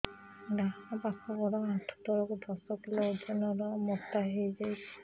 ଡାହାଣ ପାଖ ଗୋଡ଼ ଆଣ୍ଠୁ ତଳକୁ ଦଶ କିଲ ଓଜନ ର ମୋଟା ହେଇଯାଇଛି